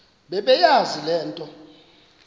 bebeyazi le nto